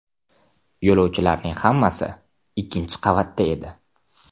Yo‘lovchilarning hammasi ikkinchi qavatda edi.